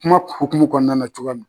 Kuma hokumu kɔɔna na cogoya min